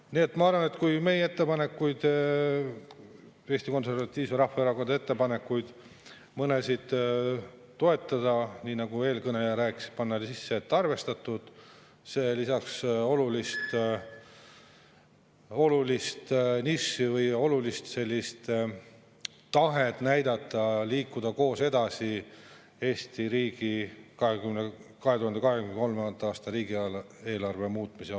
Nii et ma arvan, et kui meie ettepanekuid, Eesti Konservatiivse Rahvaerakonna ettepanekuid, mõnda toetada, nii nagu eelkõneleja rääkis, "arvestatud", siis see olulist tahet, et liikuda koos edasi Eesti riigi 2023. aasta riigieelarve muutmisel.